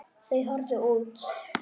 Þau horfðu út.